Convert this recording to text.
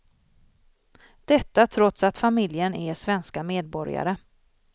Detta trots att familjen är svenska medborgare.